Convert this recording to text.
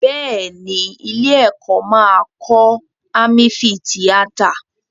Bẹ́ẹ̀ ni, ilé-ẹ̀kọ́ máa kọ́ ámífìtíátà.